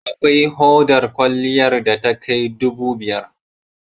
Akwai hodar kwaliyar da takai dubu biyar.